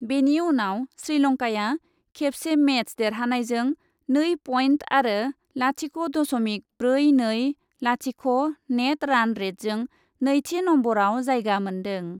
बेनि उनाव श्रीलंकाया खेबसे मेच देरहानायजों नै पइन्ट आरो लाथिख' दशमिक ब्रै नै लाथिख' नेट रान रेटजों नैथि नम्बरआव जायगा मोन्दों।